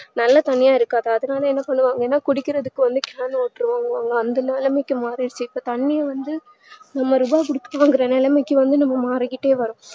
நல்ல தண்ணீயா இருக்காது அதனால என்ன பண்ணுவாங்கனா குடிக்கறதுக்கு வந்து மேல ஏத்திடுவாங்க அந்த நிலமைக்கி மாறிடிச்சி இப்ப தண்ணி வந்து நாம நிராகரிச்சிடோன்ற நிலமைக்கி வந்து நாம மாறிட்டேவரோம்